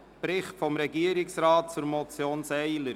Bericht des Regierungsrates zur Motion […